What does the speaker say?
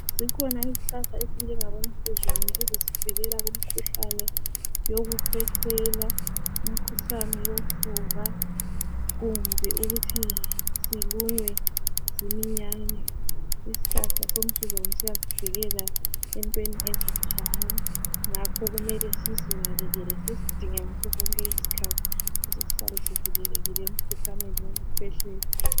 Zikhona izihlahla ezinjengabomsuzwane ezisivikela kumkhuhlane yokukhwehlela, imikhuhlane yofuba kumbe ukuthi silunywe ziminyane. Isihlahla somsuzwane siyasivikela entweni ezinjalo ngakho kumele sizinakekele sisidinge ngasosonke isikhathi ukuze sihlale sivikelekile emkhuhlaneni wokukhwehlela.